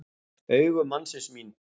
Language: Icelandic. Augu mannsins mín.